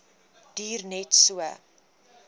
duur net so